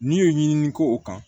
N'i ye ɲinini k'o kan